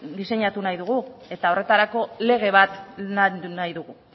diseinatu nahi dugu eta horretarako lege bat nahi dugu